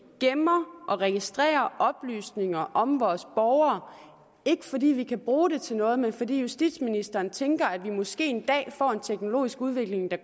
gemmer og registrerer oplysninger om vores borgere ikke fordi vi kan bruge dem til noget men fordi justitsministeren tænker at vi måske en dag får en teknologisk udvikling der